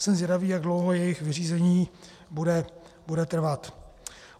Jsem zvědavý, jak dlouho jejich vyřízení bude trvat.